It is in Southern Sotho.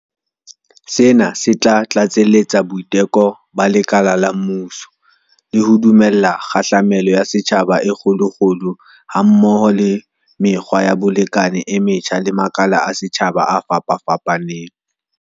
Sena se tla tlatseletsa boiteko ba lekala la mmuso, le ho dumella kgahlamelo ya setjhaba e kgolokgolo ha mmoho le mekgwa ya bolekane e metjha le makala a setjhaba a fapafapaneng.